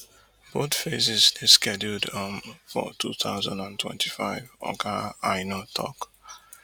both phases dey scheduled um for two thousand and twenty-five oga aina tok